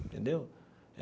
Entendeu?